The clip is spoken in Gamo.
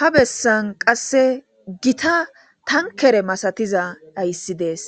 Ha bessan qassi githa thankere masathiza hayssi de7ees;